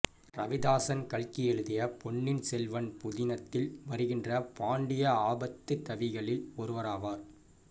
ரவிதாசன் கல்கி எழுதிய பொன்னியின் செல்வன் புதினத்தில் வருகின்ற பாண்டிய ஆபத்துதவிகளில் ஒருவராவார்